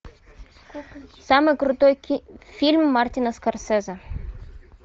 самый крутой фильм мартина скорсезе